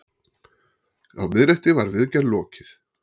Á miðnætti var viðgerð lokið.